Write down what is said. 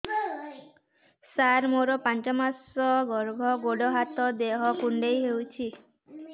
ସାର ମୋର ପାଞ୍ଚ ମାସ ଗର୍ଭ ଗୋଡ ହାତ ଦେହ କୁଣ୍ଡେଇ ହେଉଛି